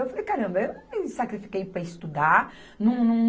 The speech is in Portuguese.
Eu falei, caramba, eu não me sacrifiquei para estudar. Num, num